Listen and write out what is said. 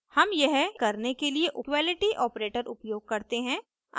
हम यह करने के लिए === इक्वलिटी ऑपरेटर उपयोग करते हैं